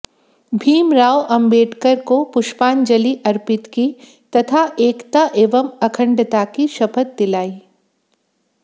भीमराव अंबेडकर को पुष्पांजलि अर्पित की तथा एकता एवं अखंडता की शपथ दिलाई